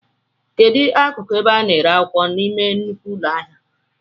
Kedụ ákụkụ ebe a na-ere akwụkwọ n'ime nnukwu ụlọ ahịa?